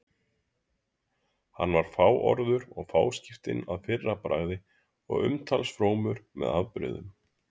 Hann var fáorður og fáskiptinn að fyrrabragði og umtalsfrómur með afbrigðum.